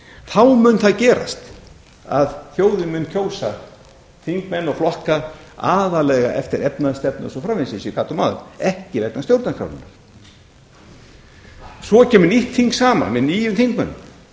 þá mun það gerast að þjóðin mun kjósa þingmenn og flokka aðallega eftir efnahagsstefnu og svo framvegis sem ég gat um áðan ekki vegna stjórnarskrárinnar svo kemur nýtt þing saman með nýjum þingmönnum